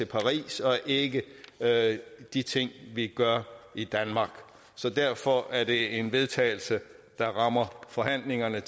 paris og ikke de ting vi gør i danmark så derfor er det en vedtagelse der rammer forhandlingerne i